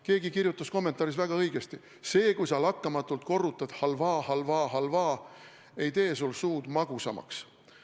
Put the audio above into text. Keegi kirjutas kommentaaris väga õigesti: "See, kui sa lakkamatult korrutad halvaa, halvaa, halvaa, ei tee sul suud magusamaks!